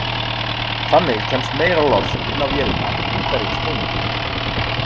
Þannig kemst meira loft inn á vélina í hverjum snúningi.